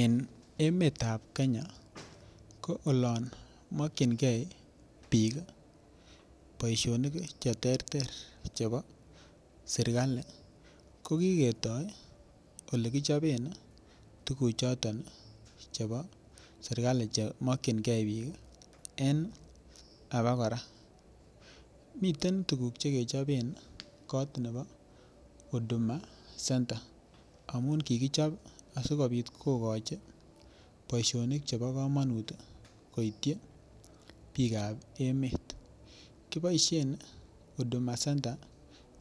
En emetab Kenya ko olon mokyingei bik boisionik Che terter Chebo serkali ko ketoi Ole kichopen tuguchoto chebo serkali Che mokyingei bik en abakora miten tuguk Che kechoben kot nebo huduma center amun kikichob asikobit kogochi boisionik chebo kamanut koityi bikap emet kiboisien huduma center